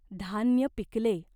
धान्य पिकले.